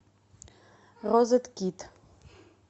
розеткед